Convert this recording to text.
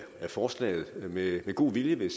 forslaget med god vilje vil